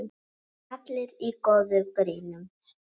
Allir í góða gírnum.